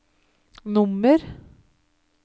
nummer